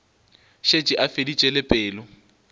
šetše a feditše le pelo